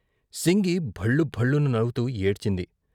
సింగి భళ్లు భళ్లున నవ్వుతూ ఏడ్చింది.